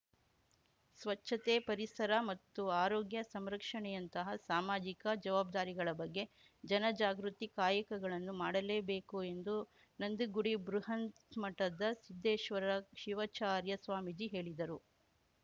ಸ್ವಚ್ಛತೆ ಪರಿಸರ ಮತ್ತು ಆರೋಗ್ಯ ಸಂರಕ್ಷೆಯಂತಹ ಸಾಮಾಜಿಕ ಜವಾಬ್ದಾರಿಗಳ ಬಗ್ಗೆ ಜನಜಾಗೃತಿ ಕಾಯಕಗಳನ್ನು ಮಾಡಲೇಬೇಕು ಎಂದು ನಂದಿಗುಡಿ ಬೃಹನ್ಮಠದ ಸಿದ್ದೇಶ್ವರ ಶಿವಾಚಾರ್ಯ ಸ್ವಾಮೀಜಿ ಹೇಳಿದರು